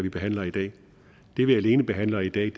vi behandler i dag det vi alene behandler i dag